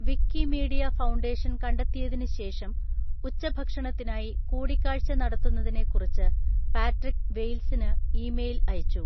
Wikimedia foundation കണ്ടെത്തിയതിന് ശേഷം, ഉച്ചഭക്ഷണത്തിനായി കൂടിക്കാഴ്ച നടത്തുന്നതിനെക്കുറിച്ച് പാട്രിക് വെയിൽസിന് ഇമെയിൽ അയച്ചു.